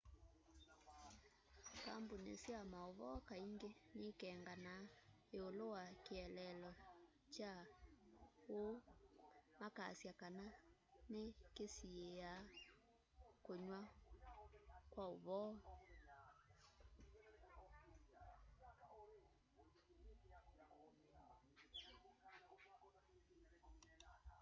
kambuni sya mauvoo kaingi ni'ikenganaa iulu wa kieleelo kya uu makasya kana ni kisiia kuyw'a kwauvoo